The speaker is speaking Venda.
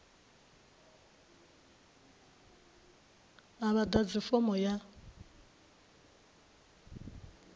a vha ḓadzi fomo ya